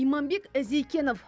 иманбек зейкенов